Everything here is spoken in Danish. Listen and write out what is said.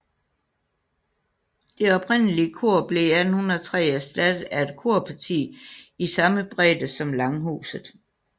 Det oprindelige kor blev i 1803 erstattet af et korparti i samme bredde som langhuset